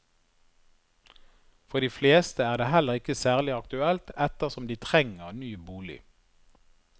For de fleste er det heller ikke særlig aktuelt, ettersom de trenger ny bolig.